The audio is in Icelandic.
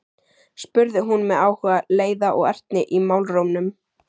spurði hún með áhuga, leiða og ertni í málrómnum.